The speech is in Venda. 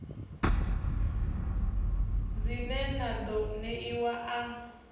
dzine na ḓo ṋeiwa a